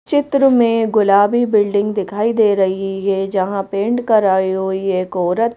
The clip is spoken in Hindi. चित्र में गुलाबी बिल्डिंग दिखाई दे रही है जहां पेंट कराई हुई एक औरत--